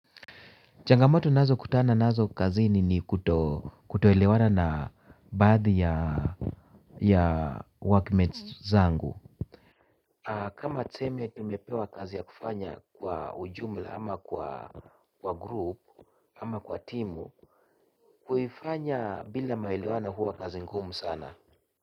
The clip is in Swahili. Changamoto ninazo kutana nazo kazini ni kutoelewana na baadhi ya workmates zangu. Kama tuseme tumepewa kazi ya kufanya kwa ujumla ama kwa grupu ama kwa timu kuifanya bila maelewano huwa kazi ngumu sana.